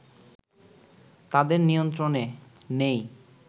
তাদের নিয়ন্ত্রনে নেই